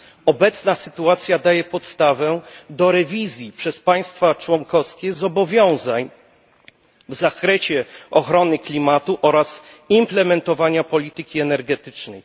Obecna sytuacja daje podstawę do rewizji przez państwa członkowskie zobowiązań w zakresie ochrony klimatu oraz implementowaniaimplementowana polityki energetycznej.